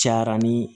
Cayara ni